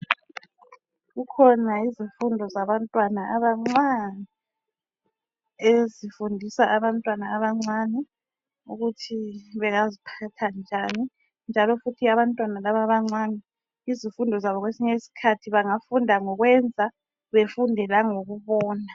Kukhona izifundo zabantwana abancani, ezifundisa abantwana abancani ukuthi bengaziphatha njani njalo futhi abantwana labo abancane izifundo zabo kwesinye isikhathi bangafunda ngokwenza befunde langokubona.